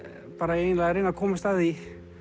eiginlega að reyna að komast að því